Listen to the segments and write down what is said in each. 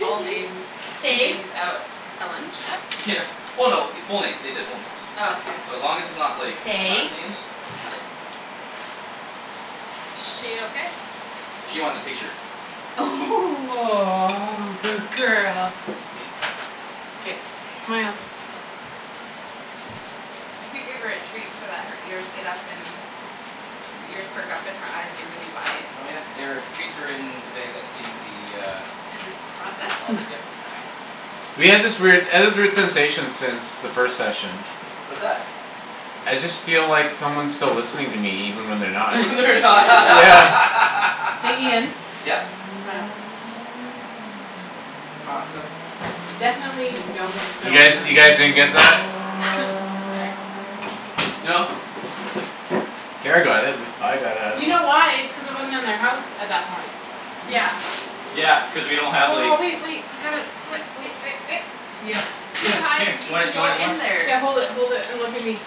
all names and stay. things out at lunch? Yeah. Well no, it- full names. They said full names. Oh okay. So as long as it's not like, Stay. last names. She okay? She wants a picture. Aw, good girl. K, smile. You could give her a treat so that her ears get up and, her ears perk up and her eyes get really wide. Oh yeah. They're, treats are in the bag that's in the, uh In the In the closet? closet, yep. Okay. We had this weird, I had this weird sensation since the first session. What's that? I just feel like someone's still listening to me even when they're not. They're Yeah. Hey Ian? n- Yep? Smile. Awesome. Definitely don't look. You guys, you guys didn't get that? Ah! Sorry. No. Kara got it. With, I got it, I You don't know. know why? It's cuz it wasn't in their house at that point. Yeah. Yeah, cuz we don't have Oh, like- wait wait, I got it. Wai- oh. Yep, Here, Too here, good. high to here. g- Do g- I, do go I in there. Yeah. Hold it hold it, and look at me.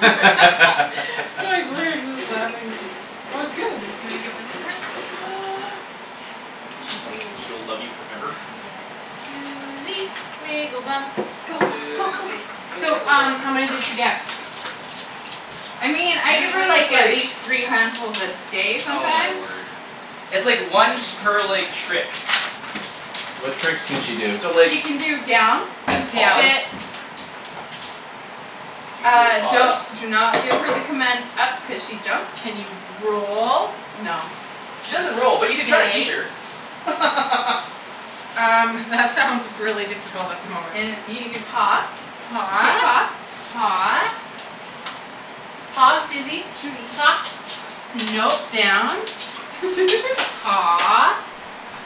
laughing. Well it's good. Do you wanna give them to her? Yes, I do. She will love you forever. Yes. Suzy, wiggle bum. Go, go go Suzy, go. So wiggle um, bum. how many Go does get she 'em. get? I mean, I give her, Usually it's like, at like least three handfuls a day Oh, my sometimes. word. It's, like, once per, like, trick. What tricks can she do? So like, She can do down, and Down. sit. pause. She can do a Ah, don't, pause. do not give her the command "up" cuz she jumps. Can you roll? No. She K. doesn't roll, but you can try and teach Stay? her. Um, that sounds really difficult at the moment. And you can do paw, Paw. shake paw. Paw. Paw, Susie. Susie. Paw, no, down. Paw.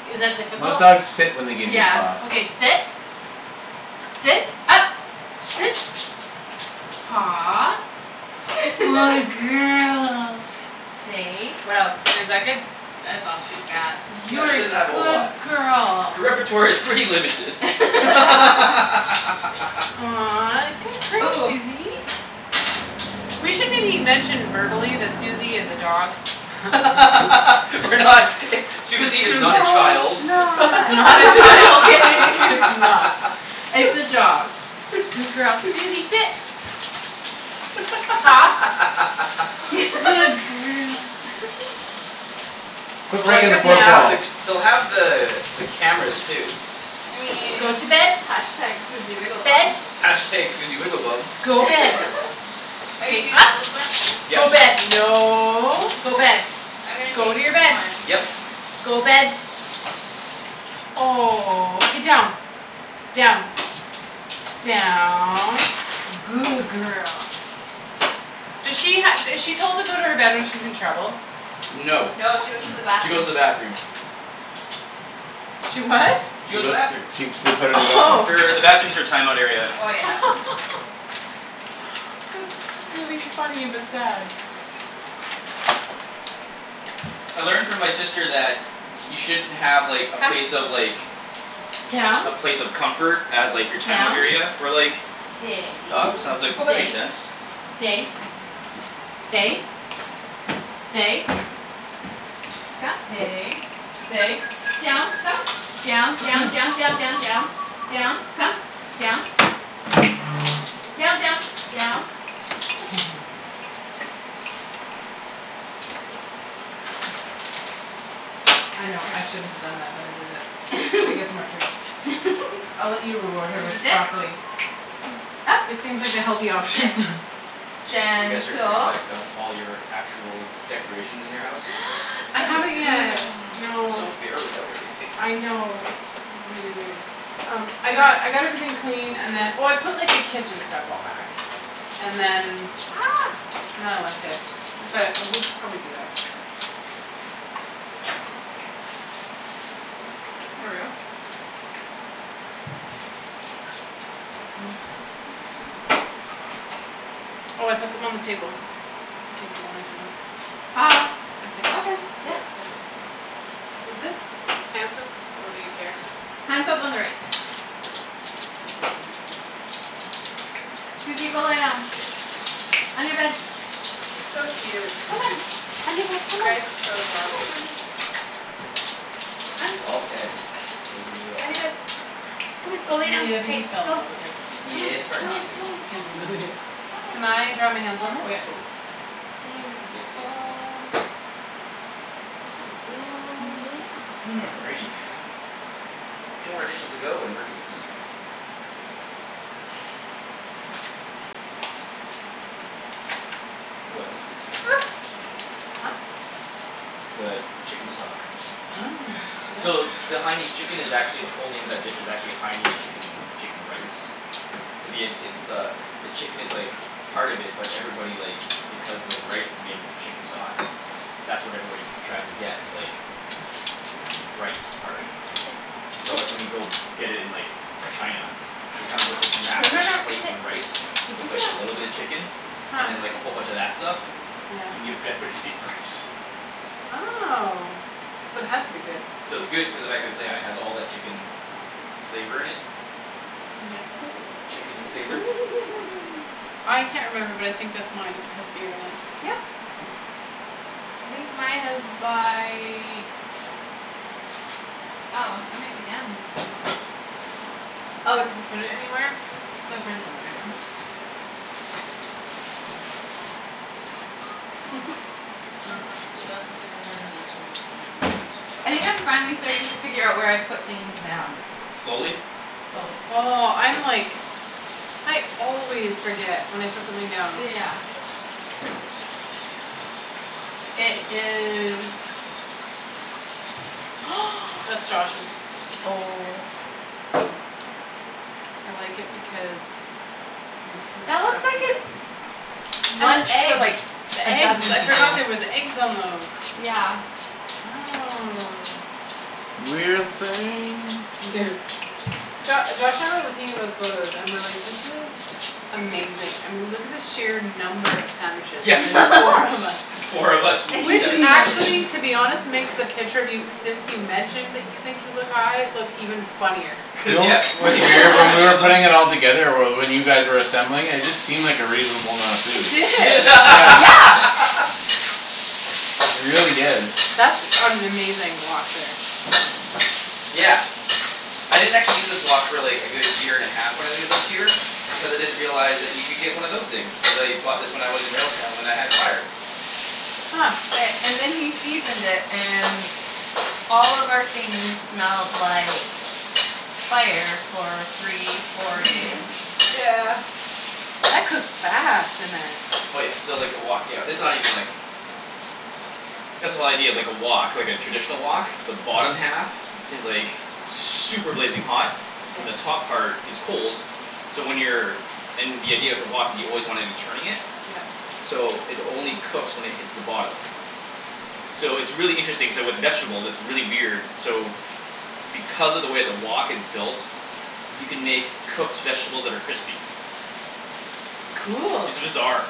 Is that Most difficult? dogs sit when they give you a Yeah. paw. Okay, sit. Sit. Up. Sit. Paw. Good girl. Stay. What else? And is that good? That's all she's got. Yeah, You're she a doesn't have a whole good lot. girl. Her repertoire is pretty limited. Aw, good girl, Ooh. Susie. We should maybe mention verbally that Susie is a dog. We're not i- Susie is not a Yeah, child. it's It's not. not a Just child; kidding. it's not. It's a dog. Good girl. Susie, sit. Paw, good girl. Quit Well, I breaking the guess they'll fourth Down. have wall. the, they'll have the, the cameras too. I Go mean to bed. Bed. #Susiewigglebomb. #Susiewigglebum. Go bed. Are you K, doing up. all the Go Yep. bed, no, go Mkay, bed. I'm gonna Go take to your bed. one. Yep. Go bed. Oh. K, Down. Down. Down. Good girl. do she ha- is she told to go to her bed when she's in trouble? No, No, she she goes goes to to the bathroom. the bathroom. She what? She She goes to the goe- bathroom. she, they put her in the bathroom. Oh. Her, the bathroom's her timeout area. Oh, yeah. That's really funny but sad. I learned from my sister that you shouldn't have, like, a Come. place of, like Down. a place of comfort as, like, your timeout Down. area for, like Stay. dogs and I was like, "Oh that makes Stay, sense." stay. Stay. Stay. Come. Stay, stay. Down, come. Down. Down, Okay. down, down, down, down. Down. Come. Down. Down, down. Down. I know. I shouldn't have done that, but I did it. She gets more treats. I'll let you reward her with Susie, . sit. Up, It seems like the healthy sit, option. You guys are putting gentle. back up all your actual decorations in your house? I Some Good haven't yet, girl. It's so no. bare without everything. I know. It's really weird. Um, I got, I got everything cleaned and then, oh, I put, like, the kitchen stuff all back. And then And then I left it. But we'll probably do that. Oh, I put them on the table, in case you wanted to know. Ah, I think. okay, yeah. Yeah, I did. Is this hand soap or do you care? Hand soap on the right. Cool. Susie, go lay down. On your bed. She's so cute. Come on, on your bed, You come on, guys chose well. come here, baby. On. It was all Ped. Wasn't me at On your all. bed. Come on, go lay down, Yeah, but hey, you fell in go. love with her. Come on, Yeah, it's hard come on, not to. come on, It come on. really is. Come on. Can I dry my hands go. on this? Oh Okay yeah, totally. There you Yes, yes, please do. go. Good girl. Ooh. Yeah, you're such a Alrighty. good girl. Two more dishes to go, and we're gonna eat. Ooh, I can do some of that in there too. Huh? The chicken stock. Oh, yeah. So the Haianese chicken is actually the whole name of that dish is actually a Haianese chicken and, chicken rice. So the id- id- the, the chicken is like part of it but everybody, like because the rice is made with the chicken stock that's what everybody tries to get is like the, the rice part. Sit. So, Sit. like, when you go get it in, like China it comes with this No, massive no, no, plate sit. of rice with like a little bit of chicken Huh. and then, like, a whole bunch of that stuff Yeah. and give, everybody just eats the rice. Oh, so it has to be good. So it's good cuz of the fact it's, yeah, it has all that chicken flavor in it. Yeah, oh, Chickeny flavor. I can't remember but I think that's mine if it has beer in it Yep. I think mine is by Oh, I might be done. Oh, it's Did you put it anywhere? over in the living room. All right, so that's there; that's almost done. And this is all I think I'm finally starting to figure out where I put things down. Slowly? Slowly. Oh, I'm like I always forget when I put something down. Yeah. It is That's Josh's. Oh. I like it because you can see That the looks out. like it's And the one for, eggs. like, The a dozen eggs, I forgot people. there was eggs on those. Yeah. Oh. Jo- Josh, I remember looking at those photos and we're like, "This is amazing." I mean look at the sheer number of sandwiches, Yeah. and there's four of us. S- four of us with Which seven actually sandwiches. to be honest makes the picture of you since you mentioned that you think you look high look even funnier. Do you Cuz know yeah, what's cuz you have weird, so when we many were of them. putting it all together or well, when you guys were assembling it, it just seemed like a reasonable amount of It food. did. Yeah. Yeah. It really did. That's an amazing wok there. Yeah. I didn't actually use this wok, really, a good year and half when I lived here because I didn't realize that you could get one of those things. Cuz I bought this when I was in Railtown when I had fire. Huh. Okay, and then he seasoned it and all of our things smelled like fire for three, four days. That cooks fast in there. Oh, yeah, so, like, the wok, yeah, this is not even like That's the whole idea of, like, a wok, like, a traditional wok. The bottom half is like super blazing hot Yeah. and the top part is cold so when you're and the idea of the wok is you always wanna be turning it Yep. so it only cooks when it hits the bottom. So it's really interesting, k, with vegetables it's really weird, so because of the way the wok is built you can make cooked vegetables that are crispy. Cool. It's bizarre.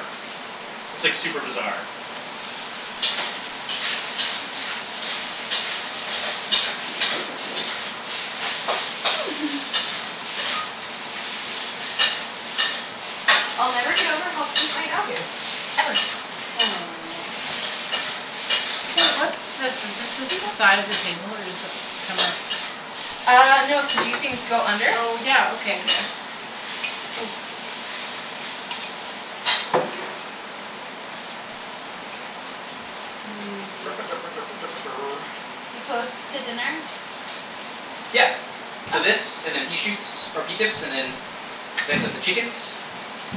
It's, like, super bizarre. I'll never get over how cute my dog is, ever. Aw. Hey, what's this? Is this just the side of the table or does it come out? Ah, no, cuz these things go under. Oh, yeah, okay. Yeah. Hmm. We close to dinner? Yeah. So Okay. this, and then pea shoots, or pea tips, and then then I set the chickens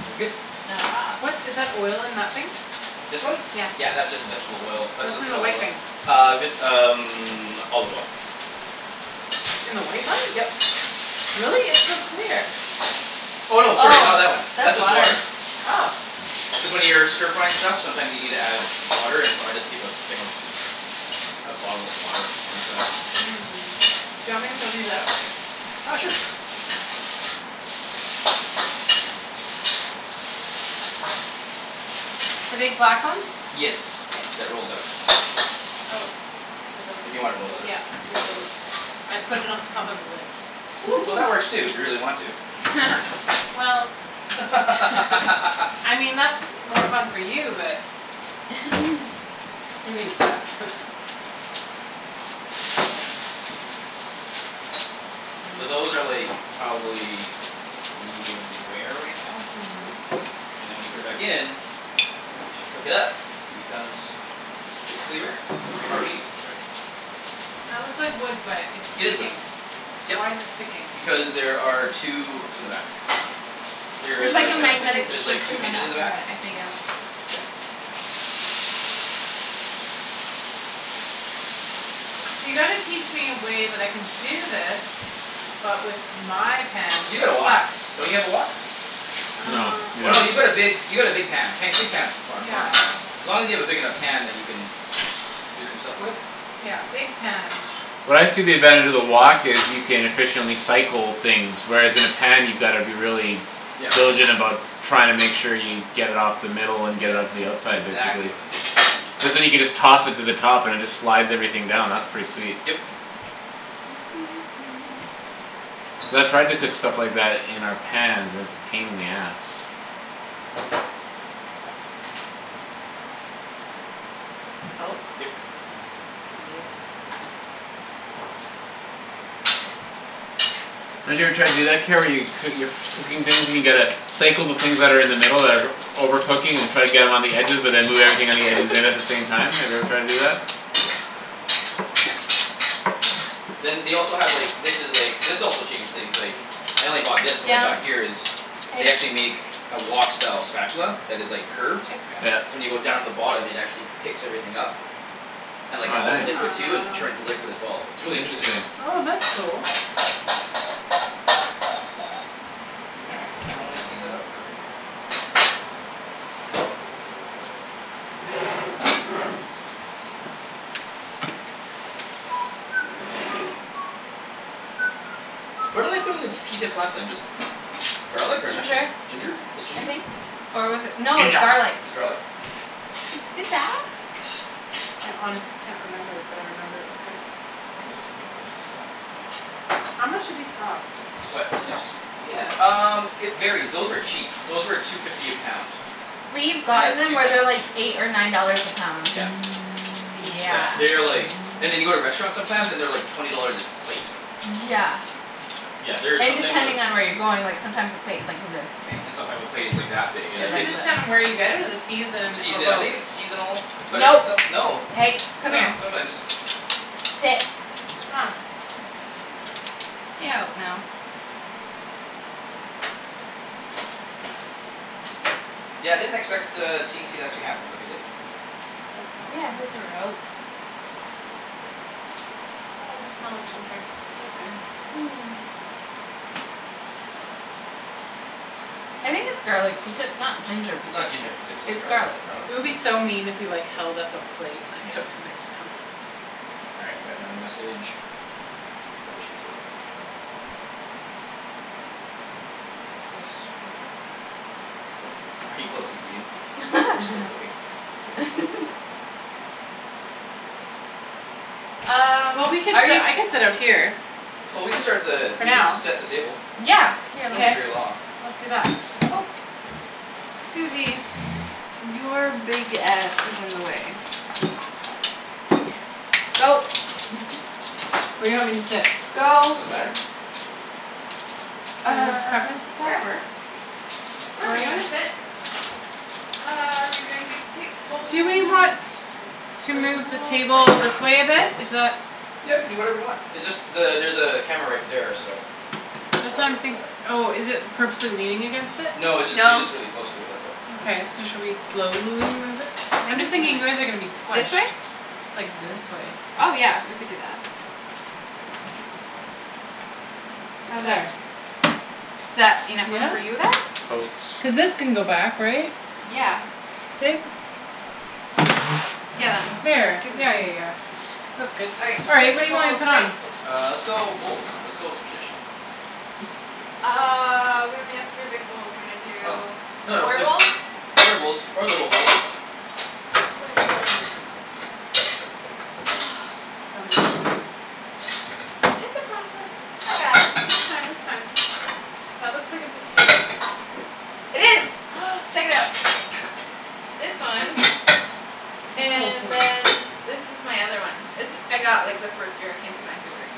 and we're good. Ah. What's, is that oil in that thing? This one? Yeah, that's just vegetable oil. That's What's just in the canola white oil. thing? Ah vit- um olive oil. In the white one? Yep. Really? It's so clear. Oh, no, sorry, not Oh, that one. That's that's just water. water. Oh. Cuz when you're stir frying stuff sometimes you need to add water, and so I just keep a thing of a bottle of water on the side. Mm. Do you want me to throw these out? Ah, sure. The big black ones? Yes, K. that rolls out. Oh. There's a If li- you wanna roll it out, Yeah, you can there's a roll it l- out. I put it on top of the lid. Whoops. Well, that works too, if you really want to. Well. I mean, that's more fun for you, but. So those are, like, probably medium rare right now. Mhm. And then when you put it back in and cook it up it becomes basically rare. Or medium, sorry. That looks like wood but it's It is wood, sticking. yep. Why's it sticking? Because there are two hooks in the back. There's There's, like like, a a hi- magnetic There's like strip Cool. two in the hinges in back the of back. it, I think. Yeah. Yeah. So you gotta teach me a way that I can do this but with my pans You got that a wok; suck. don't you have a wok? No, Um. we Oh, don't. no, you've got a big, you got a big pan, pan, big pans is fun, fun. Yeah. As long as you have a big enough pan that you can do some stuff with. Yeah, big pans. What I see the advantage of the wok is you can efficiently cycle things, whereas in a pan you gotta be really Yeah. diligent about trying to make sure you get it off the middle and get it Yeah, out to the it's outside, exactly basically. what it is. Cuz then you can just toss it to the top and it just slides everything down; that's pretty sweet. Yep. Cuz I've tried to cook stuff like that in our pans and it's a pain in the ass. Salt. Yep. Yeah. Don't you ever try to do that, Kara, where coo- you're cooking things and you gotta cycle the things that are in the middle that are over cooking and try to get them on the edges but then move everything on the edges in at the same time, have you every tried to do that? Then they also have, like, this is like, this also changed things, like I only bought this when I got Down. here is They Hey. actually make a wok style spatula that is, like, Good girl. curved Yeah. so when you go down to the bottom it actually picks everything up and, like, Oh, all the nice. liquid too and turns the liquid as well. It's really interesting. Interesting. Oh, that's cool. All right, so now we steam that out for a bit. Super cool. What did I put in the t- pea tips last time, just garlic or Ginger, nothing? Ginger? Just I ginger? think. Or was it, no, it was Ginja garlic. It was garlic? I honestly can't remember but I remember it was good. I think it was just, maybe it was just garlic. How much do these cost? What, pea tips? Yeah. Um, it varies; those were cheap. Those were two fifty a pound. We've And gotten that's them two where they're, pounds. like, eight or nine dollars a pound. Yeah. Yeah. Yeah, they are like and then you go to restaurants sometimes and they're, like, twenty dollars a plate. Yeah. Yeah, they're And sometimes uh depending on where you're going, like, sometimes the plate's, like, this big. and sometime a plate is like that big you're, Is Is like, it its like this. just just kinda where you get it or the It's season or season, I both? think it's seasonal. But I think No, some, no. hey, I come don't here. know, sometimes. Sit. Huh. Stay out now. Yeah, I didn't expect, uh, T and T to actually have them but they did. That's Yeah, I awesome. thought they were out. Oh, the smell of ginger. It's so good. Hmm. I think its garlic pea tips, not ginger It's pea not tips. ginger pea tips; its It's garlic, garlic. garlic It would pea be tips. so mean if we, like, held up a plate, like, up to the camera. All right, we got another message. What did she say? Yes, we are. Are you close to eating? We're still cooking. Um, Well, we could are sit, you I could sit out here. Well, we can start the, For we can now. set the table. Yeah, here. So won't be K. very long. Let's do that. Oop- Susie. Your big ass is in the way. Go. Where do you want me to sit? Go. Doesn't matter. You have a Uh, preference? wherever. Wherever you wanna Wherever? sit. Uh, are we doing big plates, Do we bowls? want to move the bowls, plates. table this way a bit? Is that Yeah, you can do whatever you want. It just the- there's a camera right there, so. Just That's why watch I'm out for think- that. Oh, is it purposely leaning against it? No, it jus- it's No. just really close to it; that's all. Okay, so should we slowly move it? I'm just thinking you guys are gonna be this squished. way? Like this way. Oh, yeah, we could do that. How's that? There. Is that enough room for Yeah? you there? Coats. Cuz this can go back, right? Yeah. Yeah, that moves There. super Yeah, yeah, easy. yeah. That's good. All right, All right. plates What or do you want me bowls. to put Plates. on? Uh, let's go with bowls. Let's go traditional. Uh, we may have three big bowls. You wanna Oh. do No, no, square like bowls? square bowls or little bowls. Do you want me to hold some- It's a process. I got it. It's That's fine. fine, It's that's fine. fine. That looks like a potato. It is. Check it out. This one. And then this is my other one. This I got, like, the first year I came to Vancouver.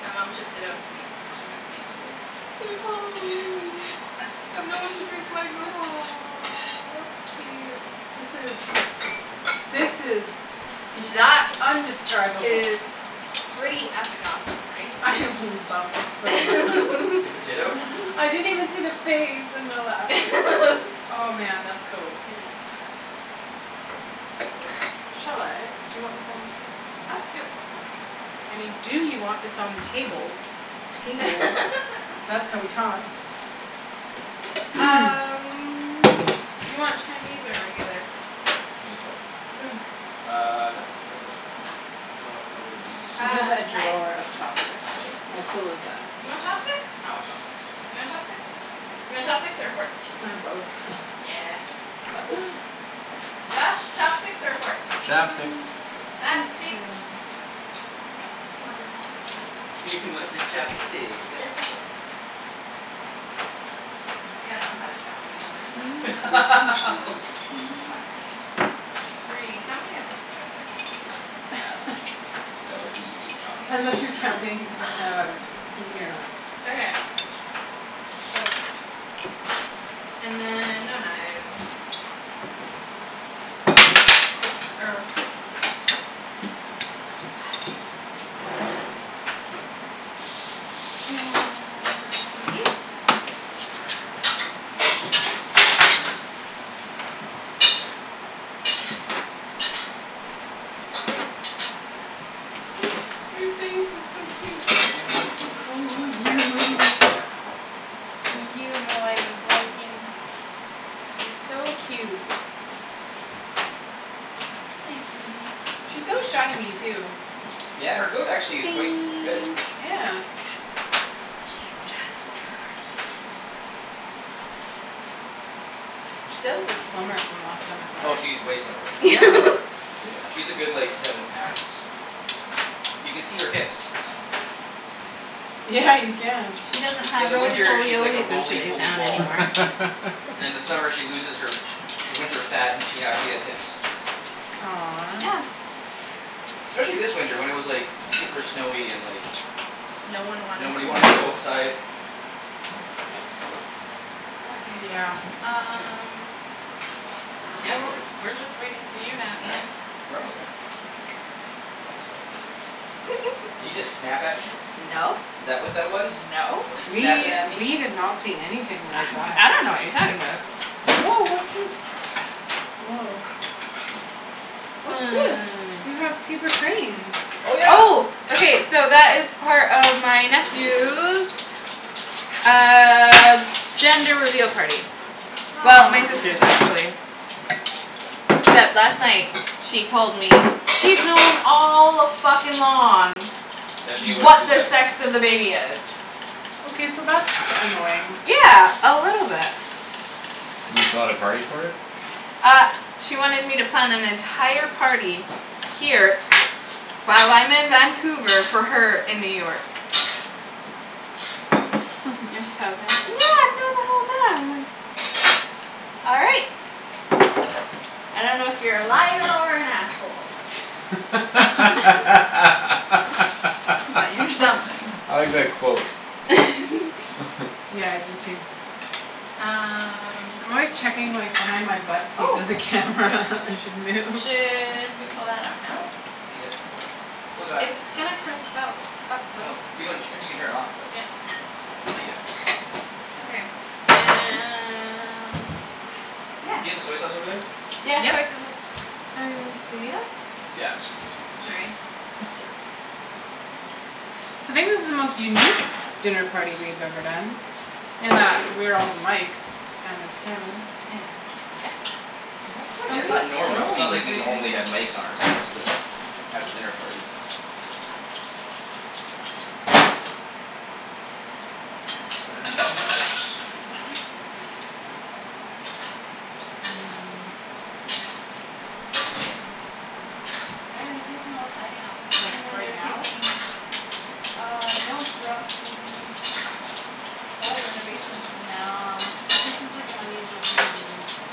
My mom shipped it out to me. She missed me and she's like "It's Halloween. I have no one to drink wine with." Aw, that's cute. This is This is Bea- That t- undescribable. is pretty f- ing awesome, right? I love it so mu- The potato? I didn't even see the face. Oh, man, that's cool. Yeah. Shall I? Do you want this on the table? I mean, do you want this on the table, table, cuz that's how we talk. Um, you want Chinese or regular? Chinese what? Spoon. Ah, no, regular's fine. You have Uh, a knife? drawer of chopsticks. Knife? For How cool is what? that. You want chopsticks? I want chopsticks. You want chopsticks? You want chopsticks or a fork? Can I have both? Yeah. Josh, chopsticks or a fork? Hey, Chopsticks. good Chopsticks. girl. You want the chopstick. You want the chop a stick The uh. chop a steek. I don't know how to count anymore. Fuck me. Three, how many of us are there? Four. So that would be eight chopsticks. Depends if you're counting Pe- um Susie or not. Okay. So. And then no knives. Which is fine or And Her face is so cute. Oh, you. You know I was looking. It's so cute. Hey Susie. She's so shiny too. Yeah, her coat actually is quite good. Yeah. She does look slimmer from the last time I saw Oh, her, she's way slimmer then last that you yeah. saw her. Whoops. Yeah, she's a good, like, seven pounds. You can see her hips. Yeah, you can. She doesn't In have the Rolie winter, Polie she's like a Ollies when she Rolie lays Polie down ball. anymore. And then in the summer she loses her her winter fat, and she actually has hips. Aw. Yeah. Especially this winter when it was, like super snowy and, like No one wanted nobody to wanted to go move. outside. Okay. Yeah, it's true. Um Yeah, we're, we're just wait for you now, All right, Ian. we're almost there. Almost there. Did you just snap at me? No. Is that what that was? No. You snappin' We, at we me? did not see anything like that. I don't know what you're talking about. Woah, what's this? Woah. What's this? You have Um. paper cranes. Oh, yeah. Oh. Okay, so that is part of my nephew's uh gender reveal party. Well, my Aw. sister's, actually. Except last night she told me she's known all a-fuckin'-long That she knew what she what was the having. sex of the baby is. Okay, so that's annoying. Yeah, a little bit. And you a party for it? Uh she wanted me to plan an entire party here while I'm in Vancouver for her in New York. Then she tells me, like, "No, I've known the whole time." All right. I don't know if you're a liar or an asshole. I But you're something. like that quote. Yeah, I do too. Um I'm always checking, like, behind my butt to see if Oh. there's a Yep. camera and should move. Should we pull that out now? No, not yet. Still got a It's gonna cup- her off though. Yeah. Not yet. Okay, and Yeah. Do you have the soy sauce over there? Yeah, soy Yep. sauce's Yeah, it's, it's a. Sorry. No, it's all right. So maybe this is the most unique dinner party we've ever done in that we're all miked and there's cameras. Yeah, yep. Yeah, it's Somebody's Somebody's not normal. It's throwing not the throwing like we thing. normally things. have mikes on ourselves to have a dinner party. All That's right, so gotta be that's that. downstairs neighbor? I mean, that's interesting. Oh, yeah, they're taking all the siding off. Like, And then right they're now? taking Uh, no, throughout the whole renovation's from now Cuz this is, like, an unusual time to be doing this.